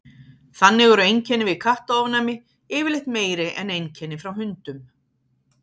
þannig eru einkenni við kattaofnæmi yfirleitt meiri en einkenni frá hundum